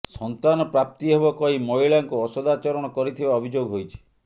ସନ୍ତାନ ପ୍ରାପ୍ତି ହେବ କହି ମହିଳାଙ୍କୁ ଅସଦାଚରଣ କରିଥିବା ଅଭିଯୋଗ ହୋଇଛି